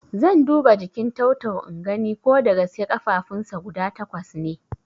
Zan duba jikin tau-tau ingani ko dagaske ƙafafunsa guda takwas ne